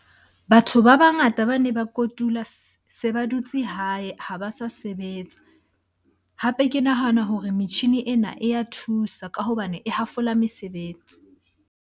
Batho ba bangata bane ba kotula se ba dutse hae, ha ba sa sebetsa. Hape ke nahana hore metjhini ena e ya thusa ka hobane e hafola mesebetsi.